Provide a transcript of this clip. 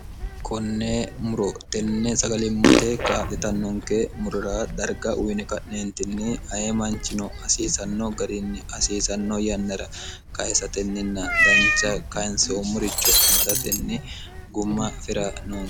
konnee muro tenne sagalimmate kaa'litannonke murora darga uyine ka'neentinni aye manchino hasiisanno gariinni hasiisanno yannara kayesatenninna dancha kayinsoommuricho amadatenni gumma fira noon